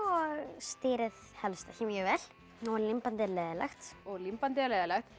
stýrið helst ekki mjög vel nú er límbandið leiðinlegt og límbandið er leiðinlegt